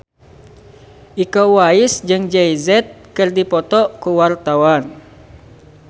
Iko Uwais jeung Jay Z keur dipoto ku wartawan